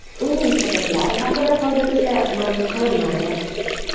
Uning sabablari haqida hozircha ma’lum qilinmadi.